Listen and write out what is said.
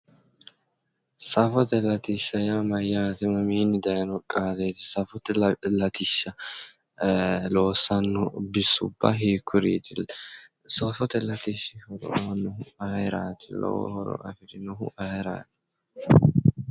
Safote latishsha yaa mayyaate? isi mamiinni daayiino qaaleeti? safote latishsha loossanno bisubba hiikkuriiti? safote latishshi horo aannohu ayeeraati? horo afirinohu ayeeraati?